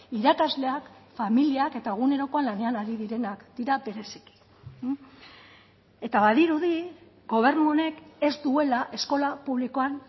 irakasleak familiak eta egunerokoan lanean ari direnak dira bereziki eta badirudi gobernu honek ez duela eskola publikoan